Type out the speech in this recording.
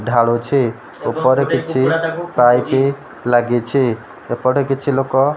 ଢାଳୁଛି ଉପରେ କିଛି ପାଇପି ଲାଗିଛି ଏପଟେ କିଛି ଲୋକ --